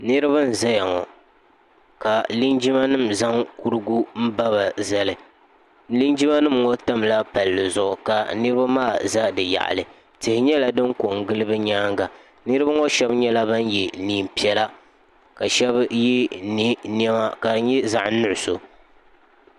niriba n zaya ŋɔ ka jinjamanim zaŋ kurigu n ba ba zali linjima tabi palizuɣ' niriba maa za bi yaɣili nyɛla din kongili bɛ nyɛŋa niriba ŋɔ shɛbi nyɛla ban yɛ nɛɛpiɛlla ka shɛbi yɛ nɛma ka di nyɛ zaɣ' nuɣisu